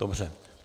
Dobře.